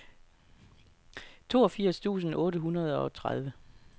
toogfirs tusind otte hundrede og tredive